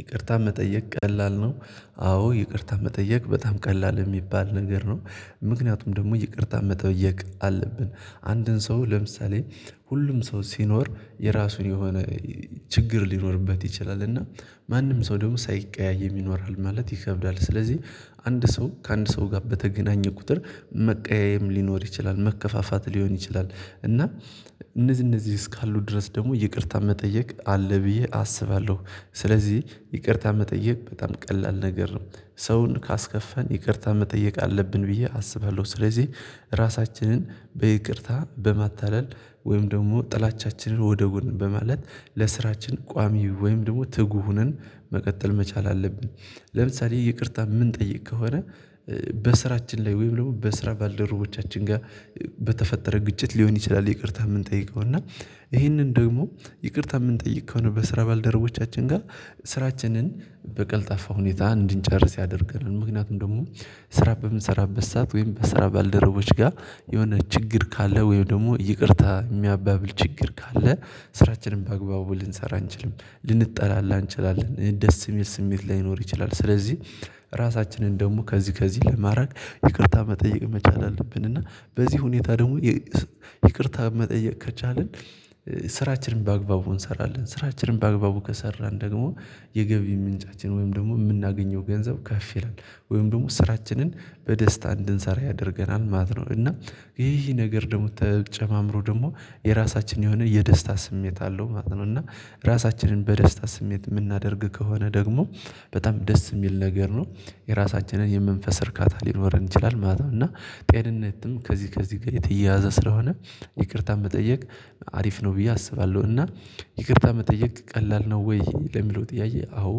ይቅርታ መጠየቅ ቀላል ነው። አዎ ይቅርታ መጠየቅ በጣም ቀላል የሚባል ነገር ነው። ምክንያቱም ደግሞ ይቅርታ መጠየቅ አለብን አንድን ሰው ለምሳሌ ሁሉም ሰው ሲኖር የራሱን የሆነ ችግር ሊኖርበት ይችላል እና ማንም ሰው ደግሞ ሳይቀያየም ይኖራል ማለት ይከብዳል ስለዚህ አንድ ሰው ከአንድ ሰው ጋር በተገናኘ ቁጥር መቀያየም ሊኖር ይችላል መከፋፋት ሊሆን ይችላል እና እነዚህ እነዚህ እስካሉ ድረስ ደግሞ ይቅርታ መጠየቅ አለ ብዬ አስባለሁ። ስለዚህ ይቅርታ መጠየቅ በጣም ቀላል ነገር ነው። ሰውን ካስከፋን ይቅርታ መጠየቅ አለብን ብዬ አስባለሁ ስለዚህ ራሳችንን በይቅርታ በማታለል ወይም ደግሞ ጥላቻችንን ወደ ጎን በማለት ለስራችን ቋሚ ወይም ደግሞ ትጉ ሆነን መቀጠል መቻል አለብን። ለምሳሌ ይቅርታ የምንጠይቅ ከሆነ በስራችን ላይ ወይም ደግሞ በስራ ባልደረቦቻችን ጋር በተፈጠረ ግጭት ሊሆን ይችላል ይቅርታ የምንጠይቀው እና ይሄንን ደግሞ ይቅርታ የምንጠይቀው ነው በስራ ባልደረቦቻችን ጋር ስራችንን በቀልጣፋ ሁኔታ እንድንጨርስ ያደርገናል። ምክንያቱም ደግሞ ስራ በምን ስራ በሰአት ወይም በስራ ባልደረቦች ጋር የሆነ ችግር ካለ ወይም ደግሞ ይቅርታ የሚያባብል ችግር ካለ ስራችንን በግባቡ ልንሰራ አንችልም ልንጠላላ አንችላለን ደስ የሚል ስሜት ላይኖር ይችላል ስለዚህ። ራሳችንን ደግሞ ከዚህ ከዚህ ለማድረግ ይቅርታ መጠየቅ መቻል አለብን። እና በዚህ ሁኔታ ደግሞ ይቅርታ መጠየቅ ከቻልን ስራችንን በአግባቡ እንሰራለን። ስራችንን በአግባቡ ከሰራን ደግሞ የገቢ ምንጫችን ወይም ደግሞ የምናገኘው ገንዘብ ከፍ ይላል ወይም ደግሞ ስራችንን በደስታ እንድንሰራ ያደርገናል ማለት ነው። እና ይህ ነገር ደግሞ ተጨማምሮ ደግሞ የራሳችን የሆነ የደስታ ስሜት አለው ማለት ነው። እና ራሳችንን በደስታ ስሜት የምናደርግ ከሆነ ደግሞ በጣም ደስ የሚል ነገር ነው። የራሳችንን የምንፈስ እርካታ ሊኖረን ይችላል ማለት ነው። እና ጤንነትም ከዚህ ከዚህ ጋር የተያያዘ ስለሆነ ይቅርታ መጠየቅ አሪፍ ነው ብዬ አስባለሁ። እና ይቅርታ መጠየቅ ቀላል ነው ወይ ለሚለው ጥያዬ አዎ?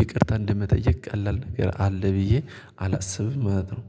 ይቅርታ እንደመጠየቅ ቀላል ነው አለ ብዬ አላስብም ማለት ነው